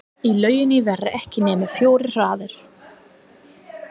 Í lauginni voru ekki nema fjórar hræður.